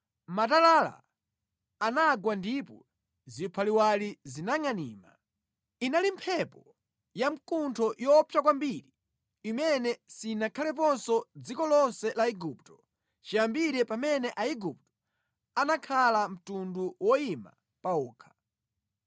Matalala anagwa ndipo ziphaliwali zinangʼanima. Inali mphepo ya mkuntho yoopsa kwambiri imene sinakhaleponso mʼdziko lonse la Igupto chiyambire pamene Aigupto anakhala mtundu woyima pa okha.